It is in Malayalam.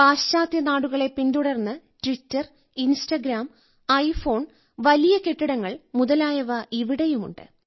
പാശ്ചാത്യ നാടുകളെ പിന്തുടർന്ന് ട്വിറ്റർ ഇൻസ്റ്റഗ്രാം ഐഫോൺ വലിയ കെട്ടിടങ്ങൾ മുതലായവ ഇവിടെയുമുണ്ട്